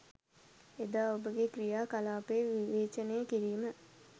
එදා ඔබගේ ක්‍රියා කලාපය විවේචනය කිරීම